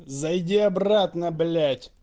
зайди обратно блять